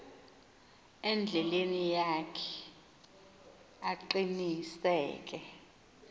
endleleni yakhe aqiniseke